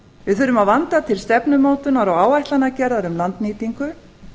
við þurfum að vanda til stefnumótunar og áætlanagerðar um landnýtingu